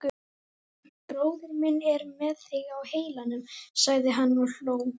Bróðir minn er með þig á heilanum sagði hann og hló.